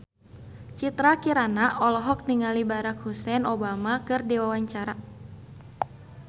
Citra Kirana olohok ningali Barack Hussein Obama keur diwawancara